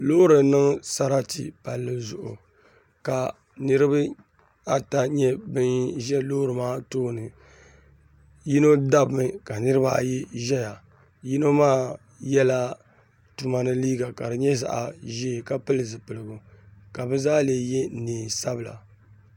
Loori n niŋ sarati palli zuɣu ka niraba ata nyɛ bin ʒɛ loori maa tooni yino dabimi ka niraba ayi ʒɛya yino maa yɛla tuma ni liiga ka di nyɛ zaɣ ʒiɛ ka pili zipiligu ka bi zaa lee yɛ neen sabila